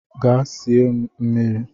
Gaa sie m mmiri!